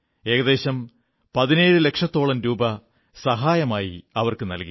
ഏകദേശം 17 ലക്ഷത്തോളം രൂപ സഹായമായി അവർക്കു നല്കി